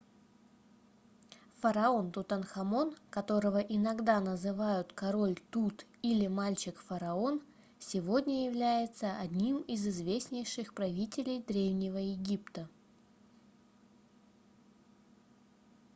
да фараон тутанхамон которого иногда называют король тут или мальчик-фараон сегодня является одним из известнейших правителей древнего египта